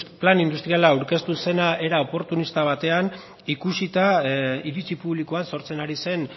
plan industriala aurkeztu zela era oportunista batean ikusita iritzi publikoan sortzen ari zen